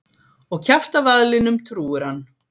Og kjaftavaðlinum trúir hann.